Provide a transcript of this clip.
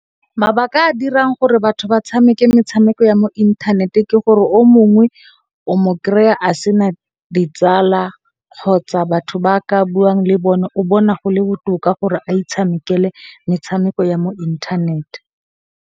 Mabaka a a dirang gore batho ba tshameke metshameko ya mo inthaneteng ke gore o mongwe o mo kry-a a sena ditsala kgotsa batho ba ka buang le bone. O bona gole botoka gore a itshamekele metshameko ya mo inthanete.